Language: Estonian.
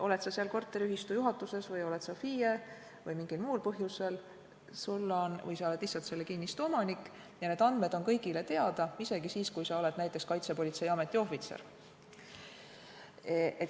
Kui sa oled korteriühistu juhatuses või oled FIE või mingil muul põhjusel, ka kui sa oled lihtsalt selle kinnistu omanik, on need andmed kõigile teada, isegi siis, kui sa oled näiteks Kaitsepolitseiameti ohvitser.